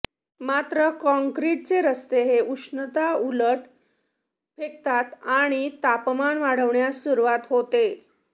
मात्र कॉंक्रीटचे रस्ते ही उष्णता उलट फेकतात आणि तापमान वाढण्यास सुरुवात होते